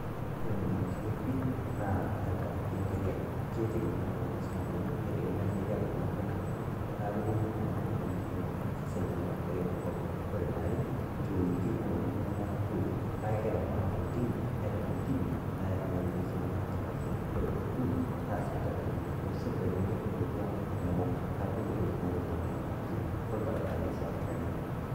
Ore enyamalitin ekwe naa tengaraki enk'ariak, keitegemea iltung'anak isilankeni, neitegemea sii enk'ariak Kuna ake naaruko neeku kepuo iltung'anak netum Inyamalitin osesen tenemat enk'ariak torrok, ore eniare kekumok ing'ang'itie nemeeta enchoi neeku kegira iltung'anak aapuo intimi aitaruo intimi naa keyaki Ina toki iltung'anak enyamalitin, kore ene uni naa sipitalini, metii esipitali enkuapi kumok naa kumok Intokitin nayaki iltung'anak enyamalitin orbaribarani sii ebaki ake.